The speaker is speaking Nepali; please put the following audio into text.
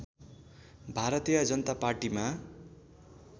भारतीय जनता पार्टीमा